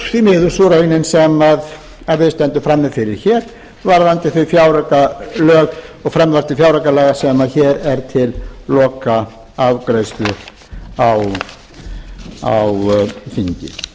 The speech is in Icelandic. því miður raunin sem við stöndum frammi fyrir hér varðandi frumvarp til fjáraukalaga sem hér er til lokaafgreiðslu á þingi frú